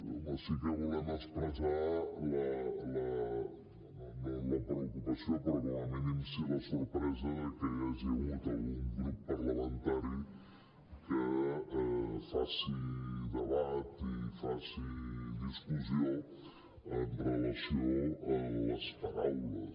home sí que volem expressar no la preocupació però com a mínim sí la sorpresa que hi hagi hagut algun grup parlamentari que ha fet debat i ha fet discussió amb relació a les paraules